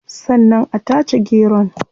Sannan a tace geron